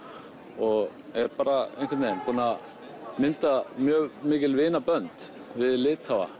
og er bara einhvern vegin búinn að mynda mjög mikil vinabönd við Litháa